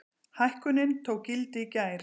Hækkunin tók gildi í gær.